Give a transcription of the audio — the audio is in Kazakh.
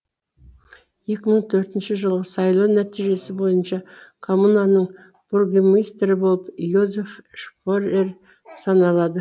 екі мың төртінші жылғы сайлау нәтижесі бойынша коммунаның бургомистрі болып йозеф шпорер саналады